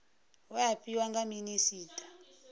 we a fhiwa nga minisita